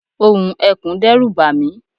ohùn ekùn dẹ́rù bàmí